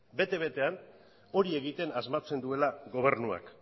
bete betean hori egiten asmatzen duela gobernuak